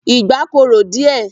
Ìgbá korò díẹ̀.